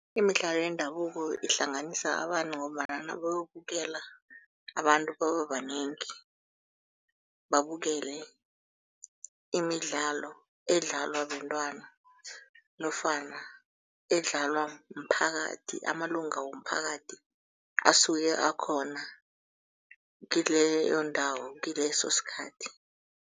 Imidlalo yendabuko ihlanganisa abantu ngombana nabayokubela abantu bababanengi, babukele imidlalo edlalwa bentwana nofana edlalwa mphakathi, amalunga womphakathi asuke akhona kileyo ndawo kileso sikhathi.